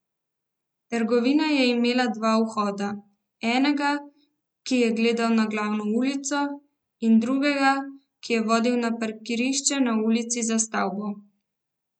Trgovina je imela dva vhoda, enega, ki je gledal na glavno ulico, in drugega, ki je vodil na parkirišče na ulici za stavbo.